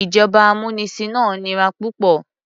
Ìjọba amúnisìn náà nira púpọ̀.